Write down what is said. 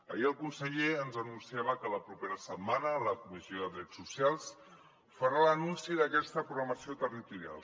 ahir el conseller ens anunciava que la propera setmana a la comissió de drets socials farà l’anunci d’aquesta programació territorial